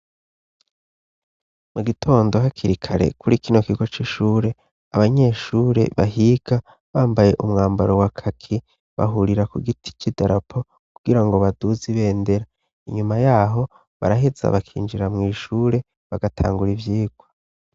Mugitondo hakiri kare kuri kino kigo c'ishure, abanyeshure bahiga bambaye umwambaro wa kaki bahurira ku giti c'idarapo kugira ngo baduze ibendera, inyuma yaho baraheza bakinjira mw'ishure bagatangura ivyigwa.